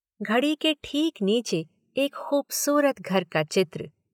घड़ी के ठीक नीचे एक खूबसूरत घर का चित्र।